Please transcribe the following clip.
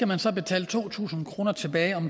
man så betale to tusind kroner tilbage